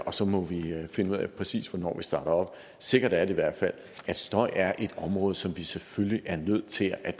og så må vi finde ud af præcis hvornår vi starter op sikkert er det i hvert fald at støj er et område som vi selvfølgelig er nødt til at